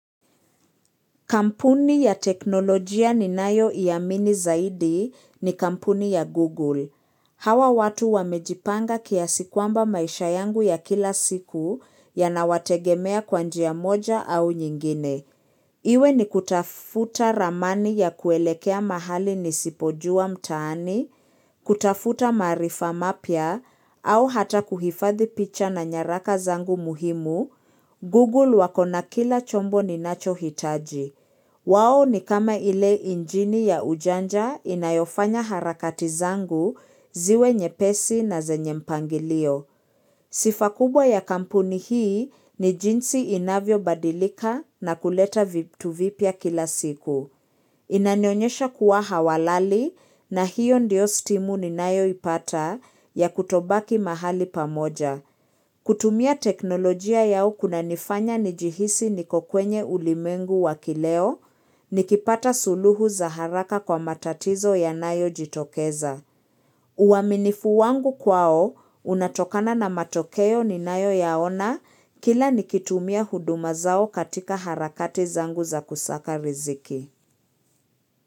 Kampuni ya teknolojia ninayoiamini zaidi ni kampuni ya Google. Hawa watu wamejipanga kiasi kwamba maisha yangu ya kila siku yanawategemea kwa njiya moja au nyingine. Iwe ni kutafuta ramani ya kuelekea mahali nisipojua mtaani, kutafuta maarifa mapya, au hata kuhifadhi picha na nyaraka zangu muhimu, Google wako na kila chombo ninacho hitaji. Wao ni kama ile injini ya ujanja inayofanya harakati zangu ziwe nyepesi na zenye mpangilio. Sifa kubwa ya kampuni hii ni jinsi inavyobadilika na kuleta vitu vipia kila siku. Inanionyesha kuwa hawalali na hiyo ndio stimu ninayoipata ya kutobaki mahali pamoja. Kutumia teknolojia yao kunanifanya nijihisi niko kwenye ulimengu wa kileo nikipata suluhu za haraka kwa matatizo yanayojitokeza. Uaminifu wangu kwao, unatokana na matokeo ninayoyaona kila nikitumia huduma zao katika harakati zangu za kusaka riziki.